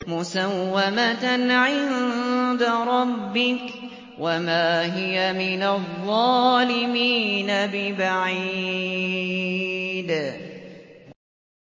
مُّسَوَّمَةً عِندَ رَبِّكَ ۖ وَمَا هِيَ مِنَ الظَّالِمِينَ بِبَعِيدٍ